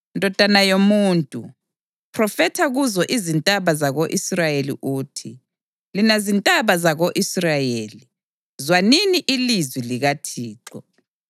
“Ndodana yomuntu, phrofetha kuzo izintaba zako-Israyeli uthi: ‘Lina zintaba zako-Israyeli, zwanini ilizwi likaThixo.